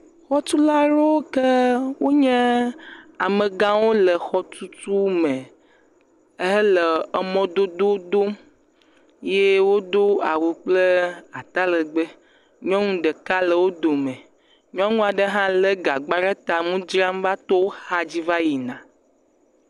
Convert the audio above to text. Xɔtulawo ke wonye amegawo le xɔtutu me hele emɔdodowo dom ye wodo awu kple atalegbe. Nyɔnu ɖeka le wo dome. Nyɔnu aɖe hã lé gagba ɖe ta, ŋu dzram va to wo xadzi va yina.